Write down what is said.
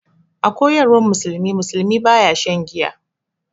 A koyarwan musulunci, musulmi baya shan giya.